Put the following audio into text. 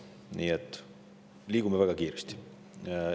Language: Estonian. Nii et liigume väga kiiresti.